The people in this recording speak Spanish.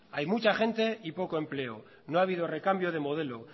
hay mucha gente y poco empleo no ha habido recambio de modelo